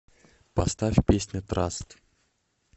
поставь песня траст